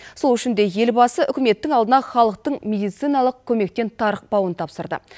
сол үшін де елбасы үкіметтің алдына халықтың медициналық көмектен тарықпауын тапсырды